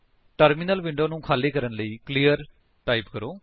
terminal window ਨੂੰ ਖਾਲੀ ਕਰਨ ਲਈ ਕਲੀਅਰ ਟਾਈਪ ਕਰੋ